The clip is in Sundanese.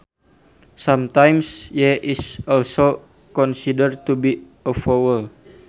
Sometimes y is also considered to be a vowel